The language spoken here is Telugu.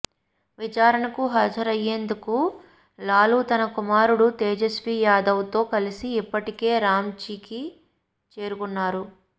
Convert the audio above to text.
విచారణకు హాజరయ్యేందుకు లాలూ తన కుమారుడు తేజస్వీ యాదవ్తో కలిసి ఇప్పటికే రాంచీకి చేరుకున్నారు